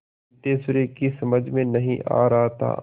सिद्धेश्वरी की समझ में नहीं आ रहा था